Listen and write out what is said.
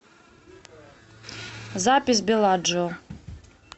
запись белладжио